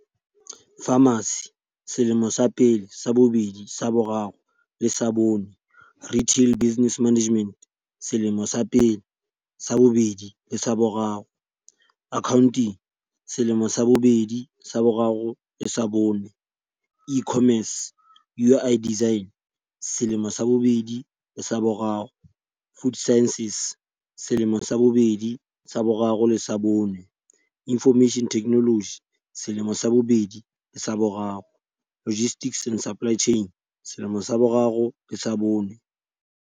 Pharmacy- selemo sa pele, sa bobedi, sa bo raro le sa bone. Retail business management- selemo sa pele, sa bobedi le sa boraro. Accounting- selemo sa bobedi, sa boraro le sa bone. E-commerce. UI design- selemo sa bobedi le sa boraro. Food sciences- selemo sa bobedi, sa boraro le sa bone. Information technology- selemo sa bobedi le sa boraro. Logistics and supply chain- selemo sa boraro le sa bone.